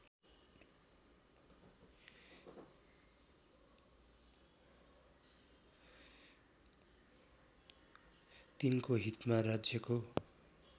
तिनको हितमा राज्यको